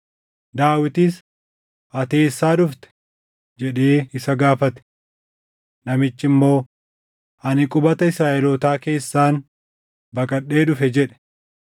Daawitis, “Ati eessaa dhufte?” jedhee isa gaafate. Namichi immoo, “Ani qubata Israaʼelootaa keessaan baqadhee dhufe” jedhe.